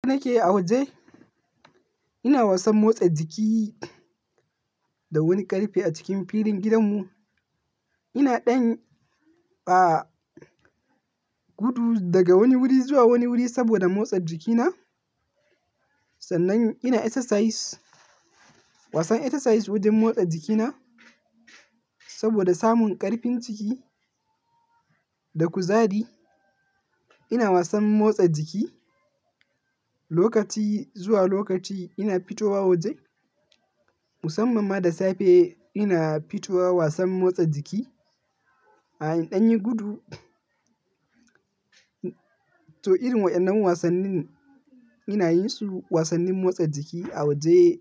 Da nake a waje, ina wasan motsa jiki da wani ƙarfe a cikin filin gidanmu. Ina ɗan a gudu daga wani wuri zuwa wani wuri saboda motsa jikina sannan ina exercise, wasan exercise wajen motsa jikina saboda samun ƙarfin ciki da kuzari. Ina wasan motsa jiki lokaci zuwa lokaci. Ina fitowa waje musamman ma da safe. Ina fitowa wasan motsa jiki a ɗan yi gudu. To, irin waɗannan wasannin ina yin su wasannin motsa jiki a waje